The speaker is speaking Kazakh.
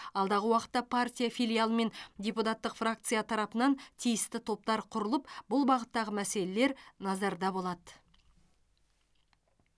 алдағы уақытта партия филиалы мен депутаттық фракция тарапынан тиісті топтар құрылып бұл бағыттағы мәселелер назарда болады